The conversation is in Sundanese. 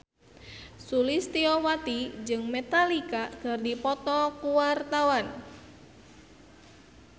Sulistyowati jeung Metallica keur dipoto ku wartawan